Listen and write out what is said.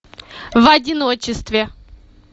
в одиночестве